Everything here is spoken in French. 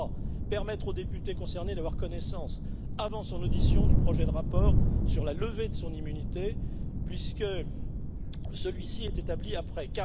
troisièmement, permettre au député concerné d'avoir connaissance, avant son audition, du projet de rapport sur la levée de son immunité puisque celui ci est établi après